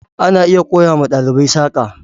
ana iya koya wa ɗalibai saƙa.